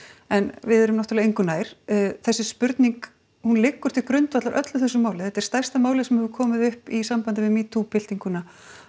en við erum náttúrulega engu nær þessi spurning hún liggur til grundvallar öllu þessu máli þetta er stærsta málið sem hefur komið upp í sambandi við metoo byltinguna